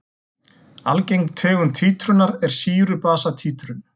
Algeng tegund títrunar er sýru-basa títrun.